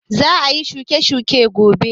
Za a shuka shuiwaka gobe.